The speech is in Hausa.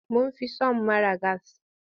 Mun fi son mara gas.